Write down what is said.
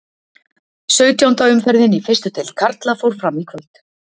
Sautjánda umferðin í fyrstu deild karla fór fram í kvöld.